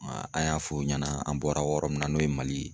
an y'a fɔ o ɲɛna an bɔra yɔrɔ min na n'o ye Mali ye.